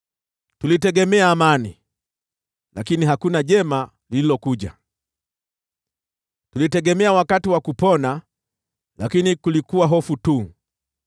Tulitegemea amani, lakini hakuna jema lililokuja, tulitegemea wakati wa kupona, lakini kulikuwa hofu tu.